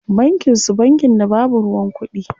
Bankin su bankin da babu ruwan kuɗi?